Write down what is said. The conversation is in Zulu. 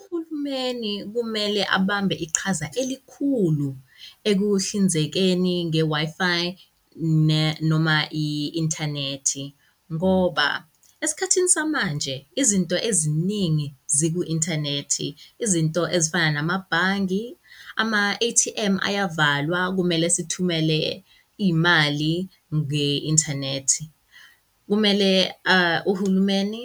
Uhulumeni kumele abambe iqhaza elikhulu ekuhlinzekeni nge-Wi-Fi ne noma i-inthanethi, ngoba esikhathini samanje izinto eziningi ziku-inthanethi. Izinto ezifana namabhangi ama-A_T_M ayavalwa, kumele sithumele imali nge-inthanethi. Kumele uhulumeni